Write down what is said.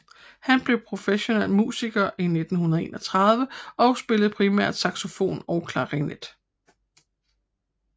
Han blev professionel musiker i 1931 og spillede primært saxofon og klarinet